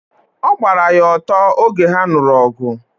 ọ gbara ya ọtọ oge ha nuru ogu